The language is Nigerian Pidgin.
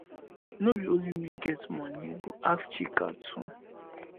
no be only me get money go ask chika too